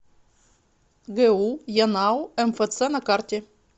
гу янао мфц на карте